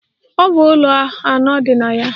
Ọ bụ ụlọ anọ dị na ya.